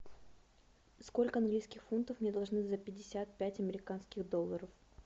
сколько английских фунтов мне должны за пятьдесят пять американских долларов